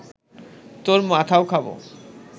তোর মাথাও খাব